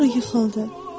Sonra yıxıldı.